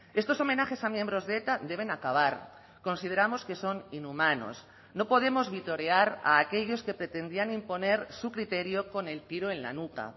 estos homenajes a miembros de eta deben acabar consideramos que son inhumanos no podemos vitorear a aquellos que pretendían imponer su criterio con el tiro en la nuca